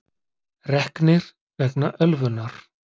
Reknir vegna ölvunar